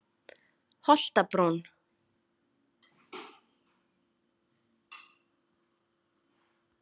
Holtabrún